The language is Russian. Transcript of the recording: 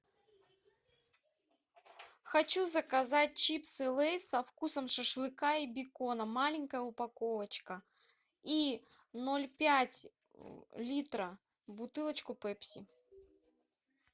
хочу заказать чипсы лейз со вкусом шашлыка и бекона маленькая упаковочка и ноль пять литра бутылочку пепси